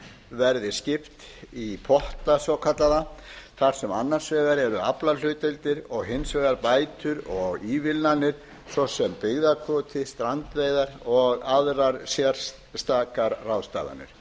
verði skipt í potta svokallaða þar sem annars vegar eru aflahlutdeildir og hins vegar bætur og ívilnanir svo sem byggðakvóti strandveiðar og aðrar sérstakar ráðstafanir